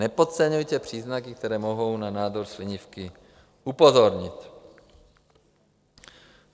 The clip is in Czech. Nepodceňujte příznaky, které mohou na nádor slinivky upozornit.